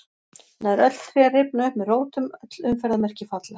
Nær öll tré rifna upp með rótum, öll umferðarmerki falla.